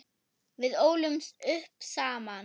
Við ólumst upp saman.